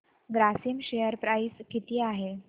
Grasim share price किती आहे